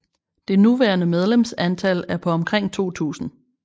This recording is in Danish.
Det nuværende medlemsantal er på omkring 2000